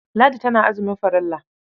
Ladi tana azumin farilla.